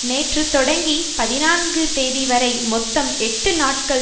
நேற்று தொடங்கி பதினான்கு தேதி வரை மொத்தம் எட்டு நாட்கள்